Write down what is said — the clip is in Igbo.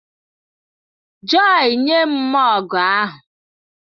Joy, nye m mọgụ ahụ!